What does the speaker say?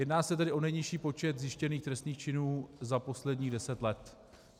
Jedná se tedy o nejnižší počet zjištěných trestných činů za posledních deset let.